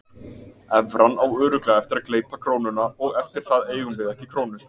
Evran á örugglega eftir að gleypa krónuna og eftir það eigum við ekki krónu.